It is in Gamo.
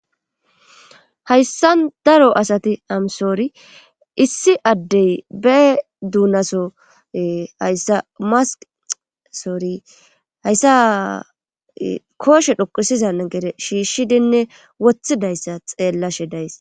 Hayssa daro asati amsoori issi addey be duunaso hayssa masq soori hayssa kooshe dhoqusiza gere shiishshidinne wothidayssa xeellashe days